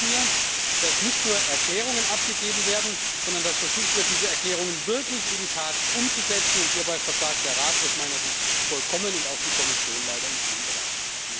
Ich wünsche mir, dass nicht nur Erklärungen abgegeben werden, sondern dass versucht wird, diese Erklärungen wirklich in die Tat umzusetzen hierbei versagt der Rat aus meiner Sicht vollkommen und die Kommission leider in vielen Bereichen.